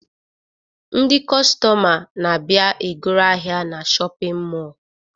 Ndị kọstọma na-abịa e goro ahịa na shọpịn mọọ